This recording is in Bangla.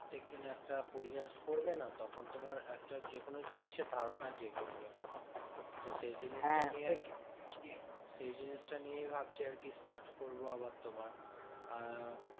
প্রত্যেক দিন একটা পরিহাস করবে না? তখন তোমার একটা যেকোনো জিনিসের ধারণা জেগে উঠবে। তো সেই জিনিসটা আরকি সেই জিনিসটা নিয়ে ভাবছি আরকি start করবো আবার তোমার। আহ